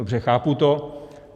Dobře, chápu to.